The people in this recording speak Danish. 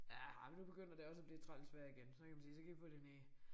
Ja ej men nu begynder det også at blive træls vejr igen så kan man sige så kan I få det ned